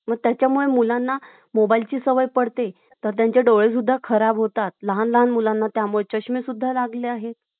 पण अशे काही मुलभूत हक्क आहेत. कि ज्यांच्यावर अधिकार फक्त भारतीयांचाच आहे. आपल्या देशातील नागरिकांचाच आहे. अशे मुलभूत हक्क कोणते कोणते आहे? तर कलम पंधरा, कलम सोळा त्यानंतर कलम एकोणवीस, कलम एकोणतीस आणि कलम तीस.